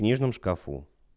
книжном шкафу